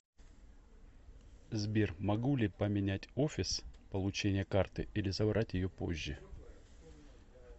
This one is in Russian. сбер могу ли поменять офис получения карты или забрать ее позже